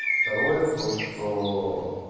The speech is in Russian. второе то что